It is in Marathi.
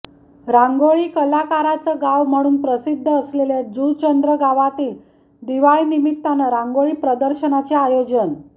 रांगोळी कलाकाराचं गाव म्हणून प्रसिद्ध असलेल्या जूचंद्र गावात दिवाळी निमित्तानं रांगोळी प्रदर्शनाचे आयोजन